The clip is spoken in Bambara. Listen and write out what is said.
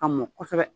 Ka mɔ kosɛbɛ